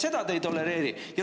Seda te ei tolereeri!